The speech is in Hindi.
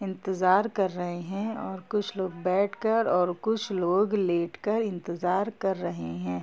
इंतजार कर रहे है और कुछ लोग बेठ कर कुछ लोग लेट कर इंतजार कर रहे है।